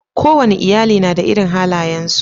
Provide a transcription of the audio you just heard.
Ko wane iyali na da irin halayensu.